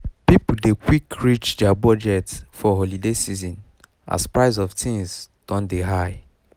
people dey quick reach their budget for holiday season as price of things go don high